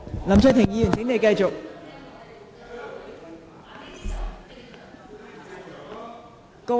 林卓廷議員，請繼續發言。